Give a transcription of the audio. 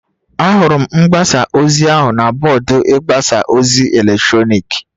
Ahụrụ m mgbasa ozi ahụ na bọọdụ ịgbasa ozi eletrọnịkị